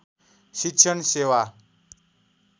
शिक्षण सेवा